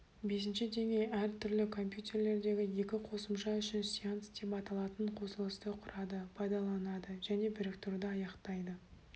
бесінші деңгей әртүрлі компьютерлердегі екі қосымша үшін сеанс деп аталатын қосылысты құрады пайдаланады және біріктіруді аяқтайды